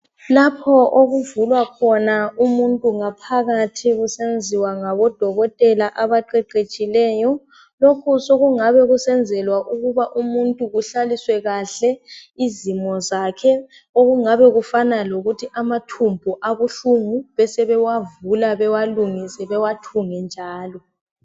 Lapho okuvulwa khona umuntu ngaphakathi kusenziwa ngabodokotela abaqeqetshileyo lokhu sokungabe kusenzelwa ukuba umuntu kuhlaliswe kahle izimo zakhe okungabe kufana lokuthi amathumbu abuhlungu sebewavula bewalungise bewathunge njalo.